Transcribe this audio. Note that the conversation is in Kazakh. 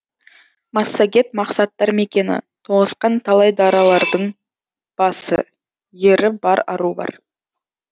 массагет мақсаттар мекені тоғысқан талай даралардың басы ері бар ару бар